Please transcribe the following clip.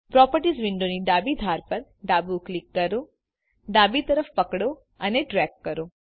properties વિન્ડોની ડાબી ધાર પર ડાબું ક્લિક કરો ડાબી તરફ પકડો અને ડ્રેગ કરો